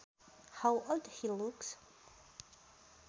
How old he looks